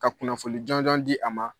Ka kunnafoni jɔnjɔn di a ma